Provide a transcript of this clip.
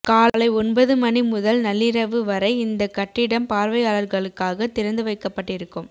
காலை ஒன்பது மணிமுதல் நள்ளிரவு வரை இந்த கட்டிடம் பார்வையாளர்களுக்காக திறந்து வைக்கப்பட்டிருக்கும்